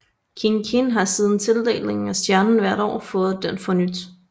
Kiin Kiin har siden tildelingen af stjernen hvert år fået den fornyet